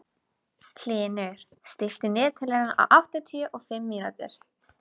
Hlynur, stilltu niðurteljara á áttatíu og fimm mínútur.